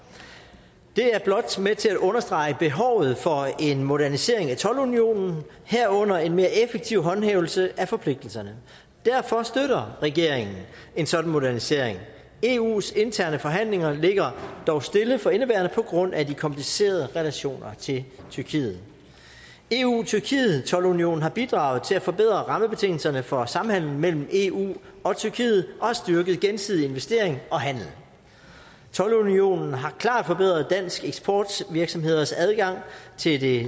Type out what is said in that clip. det er blot med til at understrege behovet for en modernisering af toldunionen herunder en mere effektiv håndhævelse af forpligtelserne derfor støtter regeringen en sådan modernisering eus interne forhandlinger ligger dog stille for indeværende på grund af de komplicerede relationer til tyrkiet eu tyrkiet toldunionen har bidraget til at forbedre rammebetingelserne for samhandlen mellem eu og tyrkiet og har styrket gensidig investering og handel toldunionen har klart forbedret danske eksportvirksomheders adgang til det